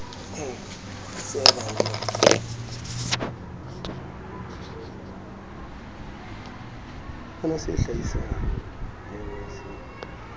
le kaalo o ne a